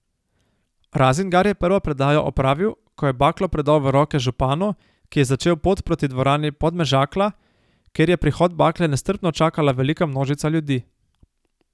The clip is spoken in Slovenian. Razingar je prvo predajo opravil, ko je baklo predal v roke županu, ki je začel pot proti dvorani Podmežakla, kjer je prihod bakle nestrpno čakala velika množica ljudi.